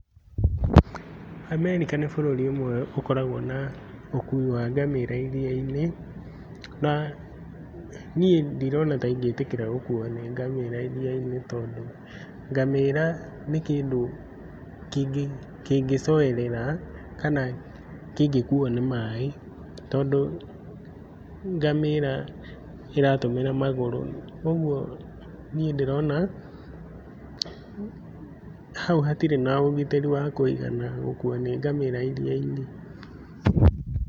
America nĩ bũrũri ũmwe ũkoragwo na ũkuui wa ngamĩra iria-inĩ, na niĩ ndirona ta ingĩĩtĩkĩra gũkuuo nĩ ngamĩra iria-inĩ tondũ ngamĩra nĩ kĩndũ kĩngĩcoerera, kana kĩngĩkuuo nĩ maĩ tondũ ngamĩra ĩratũmĩra magũrũ. Ũguo niĩ ndĩrona hau hatirĩ na ũgitĩri wa kũigana gũkuuo nĩ ngamĩra iria-inĩ.